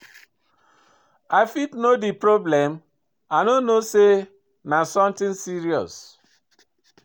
I fit know di problem? i no know say na something serious.